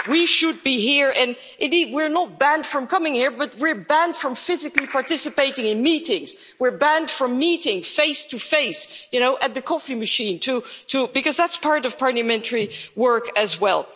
We should be here, and indeed we are not banned from coming here, but we are banned from physically participating in meetings, we are banned from meeting face to face, at the coffee machine too, because that's part of parliamentary work as well.